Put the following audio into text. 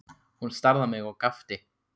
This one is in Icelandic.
Hann starði á mig og gapti.